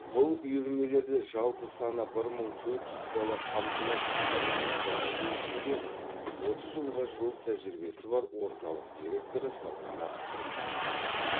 бұл үйірмелерде жалпы саны бір мың төрт жүз бала қамтылады дейді бала тәрбиелеу ісінде отыз жылға жуық тәжірибесі бар орталық директоры салтанат кұрманова